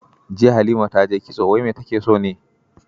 Jiya Halima ta je kitso, wai me take so ne?